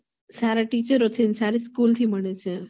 સારા teacher થી અને સારી school થી મળે